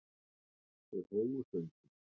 Þau hófu sönginn.